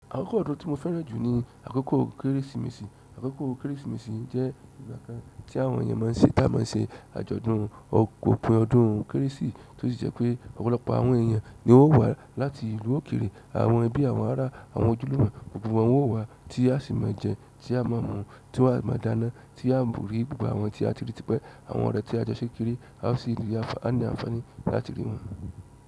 Àkókò ọdún tí mo fẹ́ràn jù ni àkókò Kérésìmesì. Àkókò Kérésìmesì jẹ́ ìgbà kan tí àwọn èèyàn má ń ṣe-- táa má ń ṣe àjọ̀dún. Òpin ọdún kérésì tó sì jẹ́ pé ọ̀pọ̀lọpọ̀ àwọn èèyàn ni ó wà láti ìlú òkèrè, àwọn ẹbí, àwọn ará, àwọn ojúlùmo, gbogbo wọn wò wá tí a sì máa jẹun, tí a máa mu, tí à máa dána, tí a mari gbogbo àwọn tí a ti ríi ti pé àwọn ọ̀rẹ́ tí a jọ ṣe kékeré, a sì ní àǹfààní láti rí wọn.